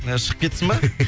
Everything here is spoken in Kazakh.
ы шығып кетсін бе